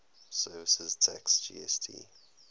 services tax gst